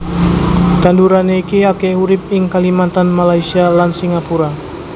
Tanduran iki akèh urip ing Kalimantan Malaysia lan Singapura